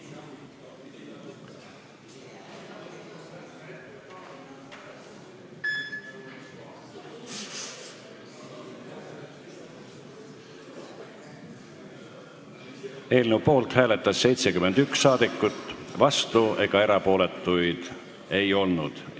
Hääletustulemused Eelnõu poolt hääletas 71 saadikut, vastuolijaid ega erapooletuid ei olnud.